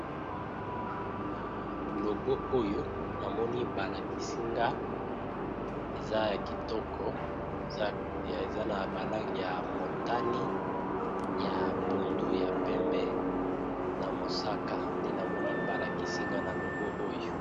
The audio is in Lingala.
Na logo oyo namoni balakisi nga eza ya kitoko, eza na ba langi ya motani ya pondu ya pembe na mosaka nde namoni balakisi nga na logo oyo.